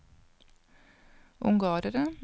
ungarere